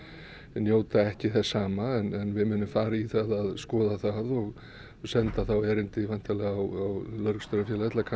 njóta ekki þess sama en við munum fara í það að skoða það og senda þá erindi væntanlega á lögreglustjórafélagið til að kanna